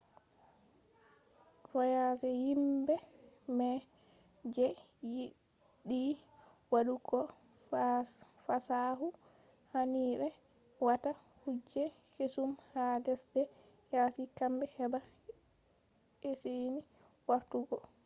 voyagers himbe mai je yidi wadu go fasikaku hani be wata kuje kesum ha lesde yasi gambe heba esini wartu go